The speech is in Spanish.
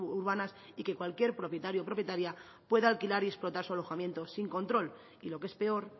urbanas y que cualquier propietario o propietaria pueda alquilar y explotar su alojamiento sin control y lo que es peor